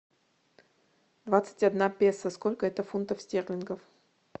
двадцать одна песо сколько это фунтов стерлингов